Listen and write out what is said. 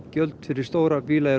gjald fyrir stóra bíla er